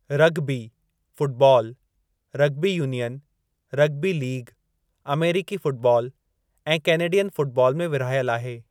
Rugby football rugby union, rugby league, अमेरीकी football ऐं Canadian football में विरहायल आहे।